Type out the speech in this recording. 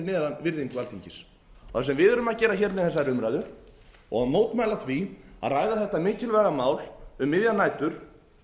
neðan virðingu alþingis það sem við erum að gera með þessari umræðu er að mótmæla því að ræða þetta mikilvæga mál um miðjar nætur